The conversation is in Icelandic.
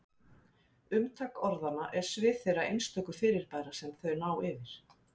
Umtak orðanna er svið þeirra einstöku fyrirbæra sem þau ná yfir.